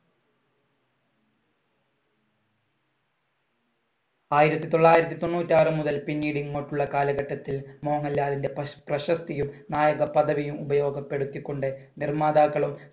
ആയിരത്തി തൊള്ളായിരത്തി തൊണ്ണൂറ്റി ആറുമുതൽ പിന്നീട് ഇങ്ങോട്ടുള്ള കാലഘട്ടത്തിൽ മോഹൻലാലിന്‍റെ പ്ര~ പ്രശസ്തിയും നായക പദവിയും ഉപയോഗപ്പെടുത്തിക്കൊണ്ട് നിർമ്മാതാക്കളും